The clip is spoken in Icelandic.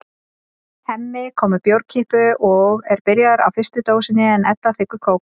Hemmi kom með bjórkippu og er byrjaður á fyrstu dósinni en Edda þiggur kók.